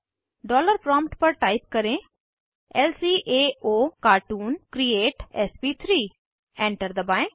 dollar prompt पर type करें ल्काओकार्टून क्रिएट एसपी3 एंटर दबाएं